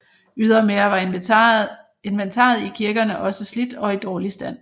Ydermere var inventaret i kirkerne også slidt og i dårlig stand